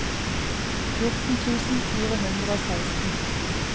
fjorten tusen fire hundre og seksten